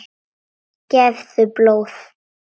Gefðu blóð.